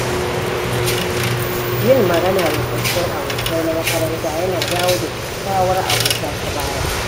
Yin magana da tsoffin abokai na makaranta yana dawo da kyawawar abota ta baya.